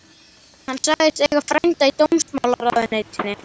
Hann sagðist eiga frænda í dómsmálaráðuneytinu.